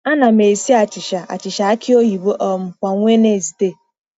Ana m esi achịcha achịcha aki oyibo um kwa Wednesde.